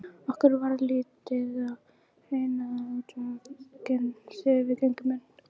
Okkur varð litið á hraunaða útveggina þegar við gengum inn.